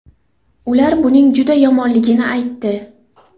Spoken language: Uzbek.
Ular buning juda yomonligini aytdi.